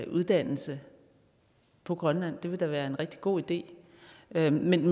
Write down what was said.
uddannelse på grønland det ville da være en rigtig god idé men men